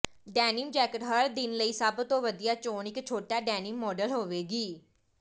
denim jacket ਹਰ ਦਿਨ ਲਈ ਸਭ ਤੋਂ ਵਧੀਆ ਚੋਣ ਇਕ ਛੋਟਾ ਡੈਨੀਮ ਮਾਡਲ ਹੋਵੇਗੀ